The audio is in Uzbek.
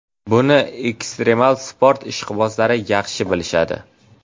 Buni ekstremal sport ishqibozlari yaxshi bilishadi.